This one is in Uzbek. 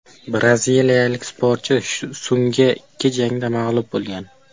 Braziliyalik sportchi so‘nggi ikki jangida mag‘lub bo‘lgan.